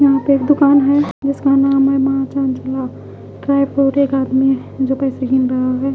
यहा पे एक दुकान है जिसका नाम है महाचनचला जो पैसे गिन रहे होगे ।